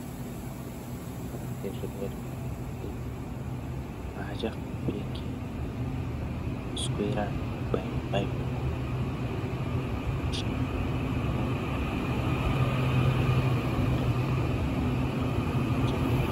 Vanorwara ngezvirwere zvemukati haachahlupeki nekuswera eibaiwa-baiwa. Kungoenda pamuchini oongororwa, oonekwa chirwere opuwa mutombo unoenderana ngechirwere.